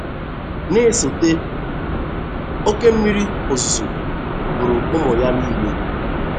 Na-esote, oke mmiri ozuzo gburu ụmụ ya niile.